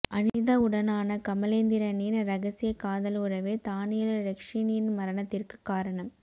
அனிதாவுடனான கமலேந்திரனின் இரகசிய காதல் உறவே தானியல் றெக்சினின் மரணத்திற்கு காரணம்